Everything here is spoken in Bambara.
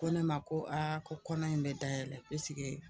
Ko ne ma ko aa ko kɔnɔ in be dayɛlɛ ke pisike